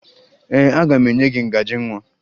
Ee, aga m enye gị ngaji nwa